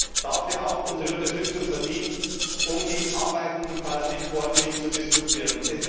Er hat dafür auch unsere Unterstützung verdient, um die Arbeiten im Parlament ordentlich zu diskutieren.